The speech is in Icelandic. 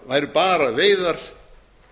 væru bara veiðar